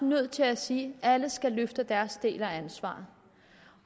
nødt til at sige at alle skal løfte deres del af ansvaret